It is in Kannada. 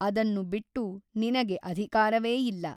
ಅದನ್ನು ಬಿಟ್ಟು ನಿನಗೆ ಅಧಿಕಾರವೇ ಇಲ್ಲ.